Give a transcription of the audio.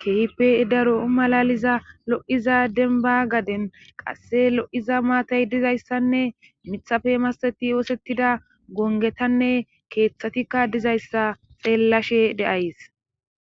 keehipe daro malaliza lo7iza denba gaden qasse lo7iza maatay dizayssanne mithafe masteti oosettida gongetanne keeththatikka dizayssa xeellashe deays